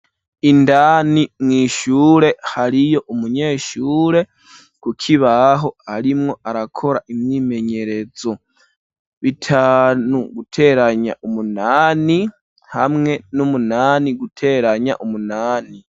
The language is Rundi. Indani mwishure hariyo umunyeshure kukibaho arimwo arakora imyimenyerezo, bitanu guteranya umunani hamwe n'umunani guteranya umunani.